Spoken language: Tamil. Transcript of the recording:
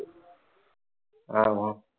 ஆமா